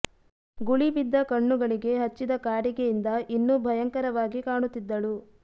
ಗುಳಿ ಬಿದ್ದ ಕಣ್ಣುಗಳಿಗೆ ಹಚ್ಚಿದ ಕಾಡಿಗೆ ಇಂದ ಇನ್ನೂ ಭಯಂಕರವಾಗಿ ಕಾಣುತಿದ್ದಳು